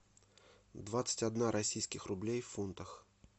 двадцать один российский рубль в фунтах